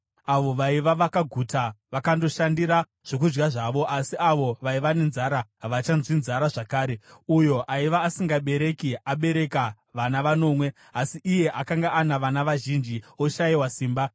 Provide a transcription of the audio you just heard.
Avo vaiva vakaguta vakandoshandira zvokudya zvavo, asi avo vaiva nenzara havachanzwi nzara zvakare. Uyo aiva asingabereki abereka vana vanomwe, asi iye akanga ana vana vazhinji oshayiwa simba.